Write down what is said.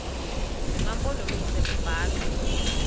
zema mpondomise kubalwa